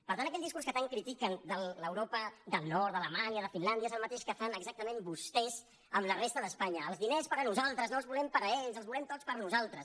per tant aquell discurs que tant critiquen de l’europa del nord d’alemanya de finlàndia és el mateix que fan exactament vostès amb la resta d’espanya els diners per a nosaltres no els volem per a ells els volem tots per a nosaltres